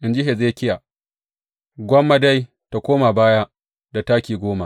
In ji Hezekiya, Gwamma dai tă koma baya da taki goma.